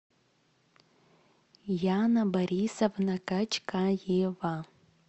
яна борисовна качкаева